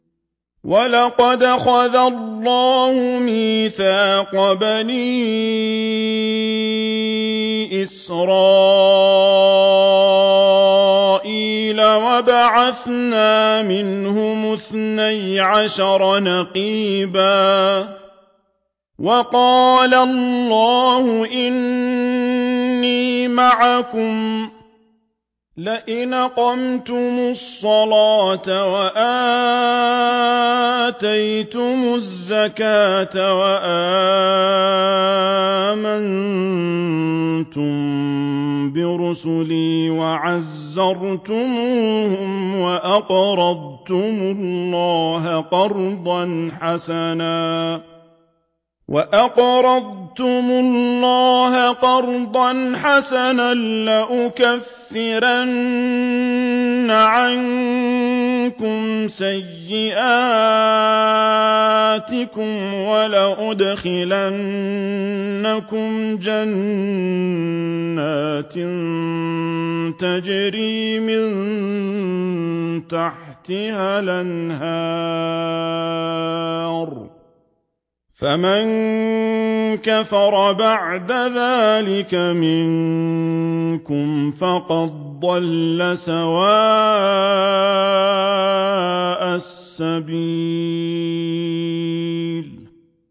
۞ وَلَقَدْ أَخَذَ اللَّهُ مِيثَاقَ بَنِي إِسْرَائِيلَ وَبَعَثْنَا مِنْهُمُ اثْنَيْ عَشَرَ نَقِيبًا ۖ وَقَالَ اللَّهُ إِنِّي مَعَكُمْ ۖ لَئِنْ أَقَمْتُمُ الصَّلَاةَ وَآتَيْتُمُ الزَّكَاةَ وَآمَنتُم بِرُسُلِي وَعَزَّرْتُمُوهُمْ وَأَقْرَضْتُمُ اللَّهَ قَرْضًا حَسَنًا لَّأُكَفِّرَنَّ عَنكُمْ سَيِّئَاتِكُمْ وَلَأُدْخِلَنَّكُمْ جَنَّاتٍ تَجْرِي مِن تَحْتِهَا الْأَنْهَارُ ۚ فَمَن كَفَرَ بَعْدَ ذَٰلِكَ مِنكُمْ فَقَدْ ضَلَّ سَوَاءَ السَّبِيلِ